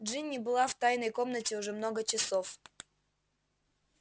джинни была в тайной комнате уже много часов